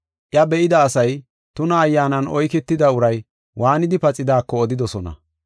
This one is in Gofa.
Iya be7ida asay tuna ayyaanan oyketida uray waanidi paxidaako odidosona.